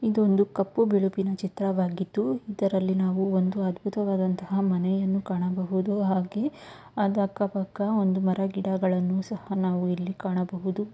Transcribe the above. ಇದು ಒಂದು ಕಪ್ಪು ಬಿಳುಪಿನ ಚಿತ್ರವಾಗಿದ್ದು ಇದರಲ್ಲಿ ನಾವು ಒಂದು ಅದ್ಭುತವಾದಂತಹ ಮನೆಯನ್ನು ಕಾಣಬಹುದು. ಹಾಗೆ ಅಕ್ಕ ಪಕ್ಕ ಒಂದು ಮರಗಿಡಗಳನ್ನು ಸಹಾ ನಾವು ಇಲ್ಲಿ ಕಾಣಬಹುದು.